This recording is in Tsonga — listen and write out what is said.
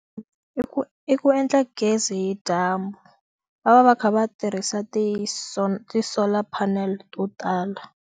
I ku i ku endla gezi hi dyambu va va va kha va tirhisa ti ti solar panel to tala.